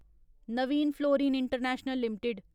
Naveen fluorine international limited